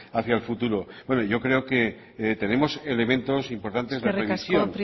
hacia el futuro bueno yo creo que tenemos elementos importantes de revisión